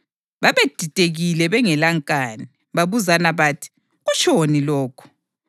Babedidekile bengelankani, babuzana bathi, “Kutshoni lokhu?”